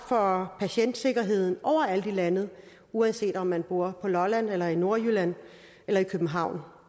for patientsikkerheden overalt i landet uanset om man bor på lolland eller i nordjylland eller i københavn